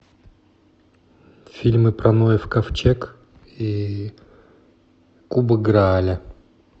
фильмы про ноев ковчег и кубок грааля